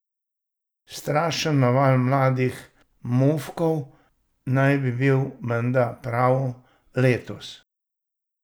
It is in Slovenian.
Strašen naval mladih mufkov naj bi bil menda prav letos.